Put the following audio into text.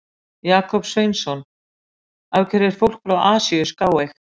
Jakob Sveinsson: Af hverju er fólk frá Asíu skáeygt?